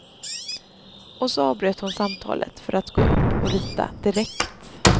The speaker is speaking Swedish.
Och så avbröt hon samtalet för att gå upp och rita direkt.